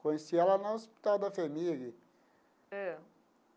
Conheci ela no hospital da FHEMIG. Ãh.